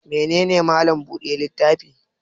Mene ne Mallam buɗe littafi?